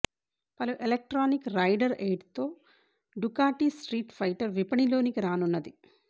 పలు electronic rider ఎయిడ్స్తో Ducati street fighter విపణిలోకి రానున్నది